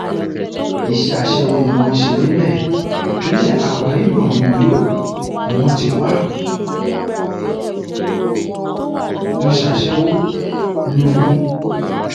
iṣẹ aṣẹwó ni wọn ń ṣe níbẹ ìpínlẹ akwa ibom ní uyo ni wọn ti wáá ń ṣàṣẹwò logun